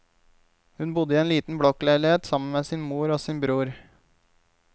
Hun bodde i en liten blokkleilighet sammen med sin mor og sin bror.